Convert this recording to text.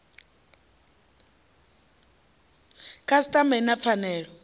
khasiṱama i na pfanelo ya